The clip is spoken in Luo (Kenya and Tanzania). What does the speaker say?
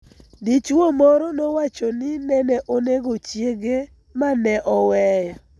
Dichuo moro nowacho ni nene onego chiege ma ne oweyo